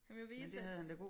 Han ville vise at